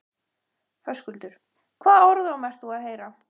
Höskuldur: Hvaða orðróm ert þú að heyra?